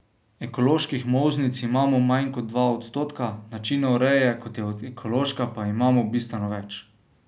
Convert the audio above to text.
Ekoloških molznic imamo manj kot dva odstotka, načinov reje, kot je ekološka, pa imamo bistveno več.